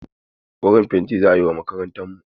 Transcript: Koren fenti za a yi wa makarantarmu.